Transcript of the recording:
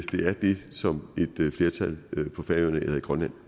som et flertal på færøerne eller i grønland